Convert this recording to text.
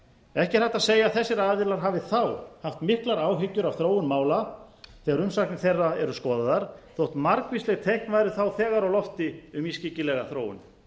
ekki er hægt að segja að þessir aðilar hafi þá haft miklar áhyggjur af þróun mála þegar umsagnir þeirra eru skoðaðar þótt margvísleg teikn væru þá þegar á lofti um ískyggilega þróun